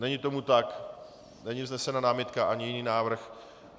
Není tomu tak, není vznesena námitka ani jiný návrh.